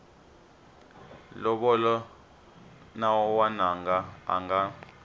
lovola n wananga a nga